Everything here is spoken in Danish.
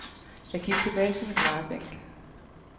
Jeg gik tilbage til min drejebænk .